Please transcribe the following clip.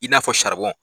I n'a fɔ